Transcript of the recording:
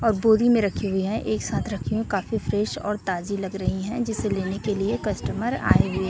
और बोरी में रखे हुए है एक साथ रखे हैं काफी फ्रेश और ताजी लग रही है जिसे लेने के लिए कस्टमर आएंगे--